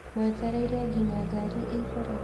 mwetereire nginya ngari ĩihũre?